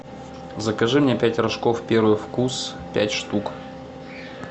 закажи мне пять рожков первый вкус пять штук